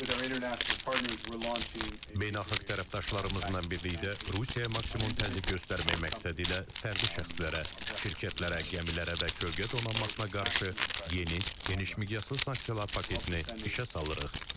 Beynəlxalq tərəfdaşlarımızla birlikdə Rusiya maksimum təzyiq göstərmək məqsədilə fərdi şəxslərə, şirkətlərə, gəmilərə və kölgə donanmasına qarşı yeni, geniş miqyaslı sanksiyalar paketini işə salırıq.